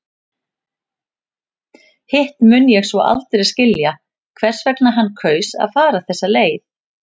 Hitt mun ég svo aldrei skilja hvers vegna hann kaus að fara þessa leið.